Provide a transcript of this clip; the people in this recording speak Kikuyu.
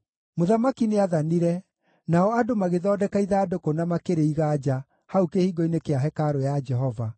Mũthamaki nĩathanire, nao andũ magĩthondeka ithandũkũ na makĩrĩiga nja, hau kĩhingo-inĩ kĩa hekarũ ya Jehova.